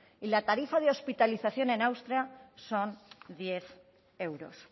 y la tarifa de hospitalización en austria son diez euros